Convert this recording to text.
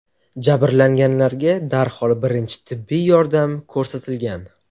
Jabrlanganlarga darhol birinchi tibbiy yordam ko‘rsatilgan.